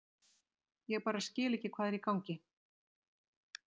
Ég bara skil ekki hvað er í gangi.